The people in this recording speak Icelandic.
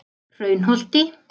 Hraunholti